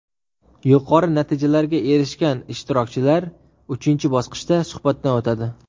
Yuqori natijalarga erishgan ishtirokchilar uchinchi bosqichda suhbatdan o‘tadi.